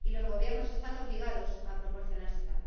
Y los Gobiernos están obligados a proporcionársela.